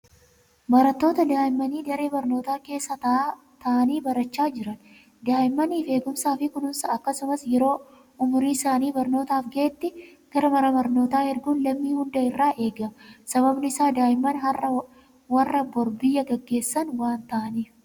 Barattoota daa'immanii daree barnootaa keessa taa'anii barachaa jiran. Daa'immaniif eegumsaa fi kunuunsa akkasumas yeroo umuriin isaanii barnootaaf gahetti gara mana barnootaa erguun lammii hunda irraa eegama. Sababni isaas daa'imman har'aa warra bor biyya gaggeessan waan ta'aniif.